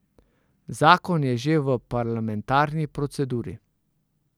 Zakon je že v parlamentarni proceduri.